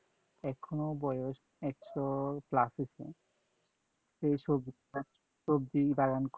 এখনও বয়স একশ plus হইছে। সে সবজি বাগান